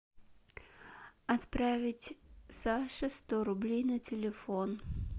отправить саше сто рублей на телефон